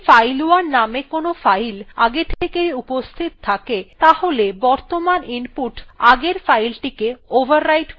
যদি file1 name কোনো file আগে থেকেই উপস্হিত থাকে তাহলে বর্তমান input আগের fileটিকে overwrite করে দেবে